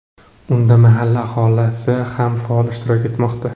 Unda mahalla aholisi ham faol ishtirok etmoqda.